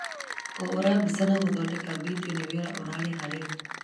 Kũhũũra mbica na gũthondeka video nĩ wĩra ũrarĩha rĩu.